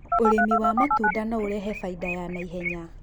ũrĩmi waatunda no ũrehe faida ya na ihenya